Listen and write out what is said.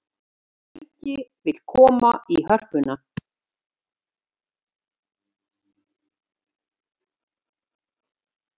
Hann mun berjast fyrir sæti sínu í liðinu.